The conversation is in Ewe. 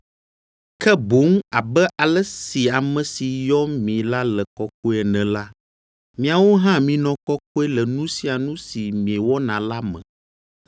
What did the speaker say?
ke boŋ abe ale si ame si yɔ mi la le kɔkɔe ene la, miawo hã minɔ kɔkɔe le nu sia nu si miewɔna la me,